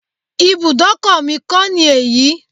Ibùdókọ̀ mi kọ́ ni èyí.